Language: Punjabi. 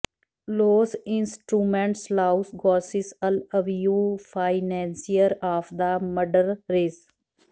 ਲੋਸ ਇੰਸਟ੍ਰੂਮੈਂਟਸ ਲਾਓਸ ਗੌਰਸਿਸ ਅਲ ਅਵੀਓ ਫਾਈਨੈਂਸੀਅਰ ਆਫ ਦ ਮਡਰਰੇਸ